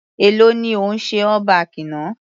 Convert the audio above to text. Èló ni o ṣe all back náà.